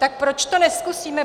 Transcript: Tak proč to nezkusíme?